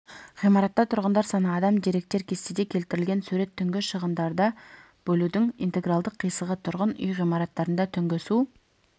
ғимаратта тұрғындар саны адам деректер кестеде келтірілген сурет түнгі шығындарды бөлудің интегралдық қисығы тұрғын үй ғимараттарында түнгі су